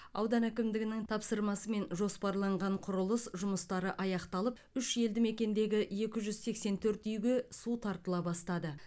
аудан әкімдігінің тапсырмасымен жоспарланған құрылыс жұмыстары аяқталып үш елді мекендегі екі жүз сексен төрт үйге су тартыла бастады